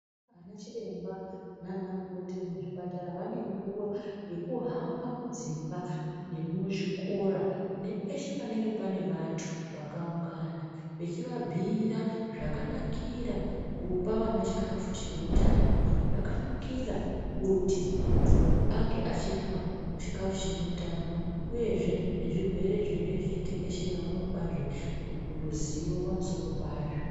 Ana chiremba nanamukoti vemuzvipatara vanenguwa yekuhamba mudzimba nemuzvikora nepeshe panenge pane vantu vakaungana vechivabhuyira zvakanakira kupa vana chikafu chine utano zvakanakira kuti muntu ange achirya chikafu chine utano uyezve nezvirwere zvinenge zvichitekeshera vanopazve ruzivo pamusoro pazvo.